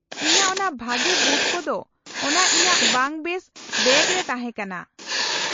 -ᱤᱧᱟᱹᱜ ᱚᱱᱟ ᱵᱷᱟᱜᱮ ᱵᱩᱴ ᱠᱚᱫᱚ ᱚᱱᱟ ᱤᱧᱟᱹᱜ ᱵᱟᱝ ᱵᱮᱥ ᱵᱮᱜᱽ ᱨᱮ ᱛᱟᱦᱮᱸ ᱠᱟᱱᱟ ᱾